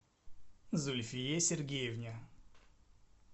зульфие сергеевне